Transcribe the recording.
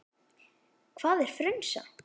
Hvað er frunsa?